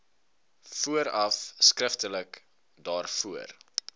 vooraf skriftelik daarvoor